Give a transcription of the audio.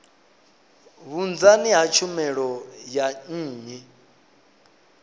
vhunzani ha tshumelo dza nnyi